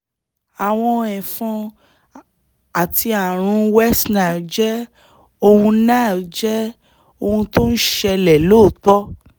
àwọn ẹ̀fọn àti ààrùn west nile jẹ́ ohun nile jẹ́ ohun tó ń ṣẹlẹ̀ lóòótọ́